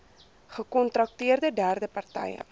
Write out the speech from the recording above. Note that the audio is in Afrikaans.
gekontrakteerde derde partye